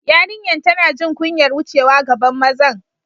Yariyan tanna jin kunyar wucewa gaban mazan.